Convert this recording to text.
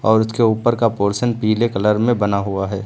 और उसके ऊपर का पोर्शन पीले कलर में बना हुआ है।